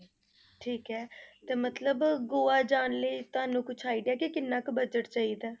ਠੀਕ ਹੈ ਤੇ ਮਤਲਬ ਗੋਆ ਜਾਣ ਲਈ ਤੁਹਾਨੂੰ ਕੁਛ idea ਕਿ ਕਿੰਨਾ ਕੁ budget ਚਾਹੀਦਾ ਹੈ?